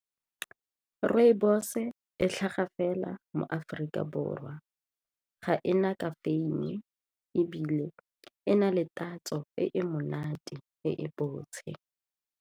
Rooibos e tlhaga fela mo Aforika Borwa, ga e na ka ebile e na le tatso e monate e e botse.